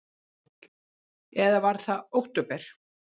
Eða var það október?